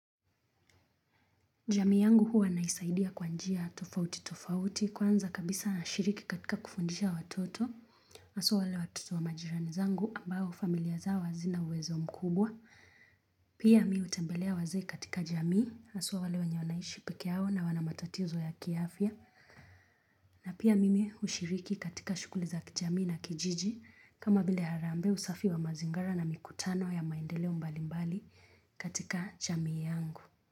Jamii yangu huwa naisaidia kwanjia tofauti tofauti kwanza kabisa nashiriki katika kufundisha watoto, hasuwa wale watoto wa majirani zangu ambao familia zao hazina uwezo mkubwa. Pia mii hutembelea wazee katika jamii, haswa wale wanye wanaishi peke yao na wanamatotizo ya kiafya. Na pia mimi hushiriki katika shughuli za kijamii na kijiji kama vile harambe usafi wa mazingara na mikutano ya maendeloe mbalimbali katika jamii yangu.